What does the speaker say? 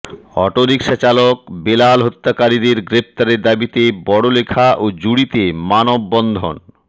autorickshaw চালক বেলাল হত্যাকারীদের গ্রেফতারের দাবিতে বড়লেখা ও জুড়ীতে মানববন্ধন